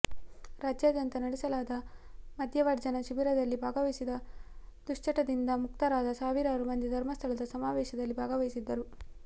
ರಾಜ್ಯಾದ್ಯಂತ ನಡೆಸಲಾದ ಮದ್ಯವರ್ಜನ ಶಿಬಿರದಲ್ಲಿ ಭಾಗವಹಿಸಿ ದುಶ್ಚಟದಿಂದ ಮುಕ್ತರಾದ ಸಾವಿರಾರು ಮಂದಿ ಧರ್ಮಸ್ಥಳದ ಸಮಾವೇಶದಲ್ಲಿ ಭಾಗವಹಿಸಿದ್ದರು